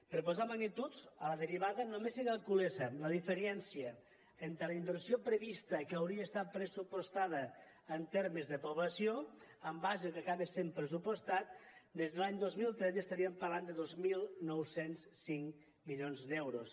per posar magnituds a la derivada només que calculéssem la diferència entre la inversió prevista que hauria estat pressupostada en termes de població i el que acaba sent pressupostat des de l’any dos mil tretze estaríem parlant de dos mil nou cents i cinc milions d’euros